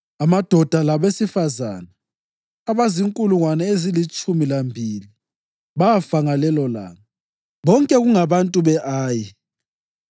Amadoda labesifazane abazinkulungwane ezilitshumi lambili bafa ngalelolanga, bonke kungabantu be-Ayi,